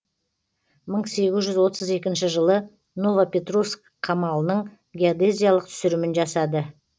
мың сегіз жүз отыз екінші жылы ново петровск қамалының геодезиялық түсірімін жасады